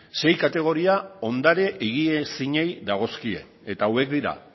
sei kategoria ondare higiezinei dagozkie eta hauek dira